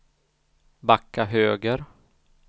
backa höger